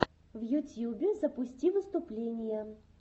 в ютьюбе запусти выступления